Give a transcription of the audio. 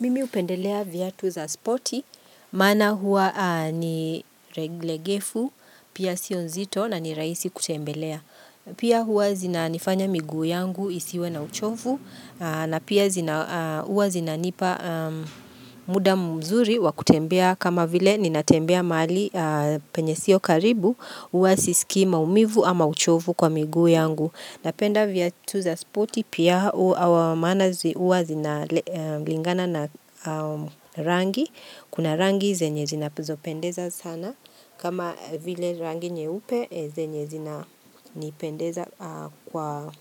Mimi hupendelea viatu za spoti maana huwa ni reglegefu, pia sio nzito na ni rahisi kutembelea. Pia hua zina nifanya miguu yangu isiwe na uchovu, na pia huwa zinanipa muda mzuri wakutembea kama vile ninatembea mahali penye sio karibu, huwa sisiki maumivu ama uchovu kwa miguu yangu. Napenda viatu za spoti, pia maana huwa zina lingana na rangi, kuna rangi zenye zina zopendeza sana, kama vile rangi nyeupe zenye zina nipendeza kwa